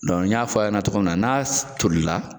n y'a fɔ aw ɲɛna cogo min na n'a toli la.